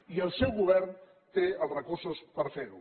i el seu govern té els recursos per fer ho